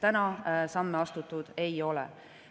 Seni samme astutud ei ole.